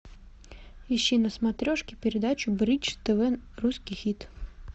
ищи на смотрешке передачу бридж тв русский хит